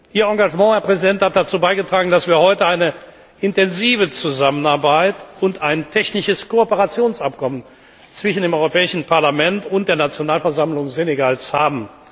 zu stärken. Ihr Engagement, Herr Präsident, hat dazu beigetragen, dass wir heute eine intensive Zusammenarbeit und ein Abkommen über technische Kooperation zwischen dem Europäischen Parlament und der Nationalversammlung Senegals